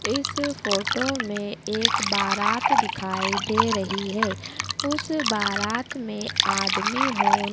इस फोटो में एक बारात दिखाई दे रही है उस बारात में आदमी हो--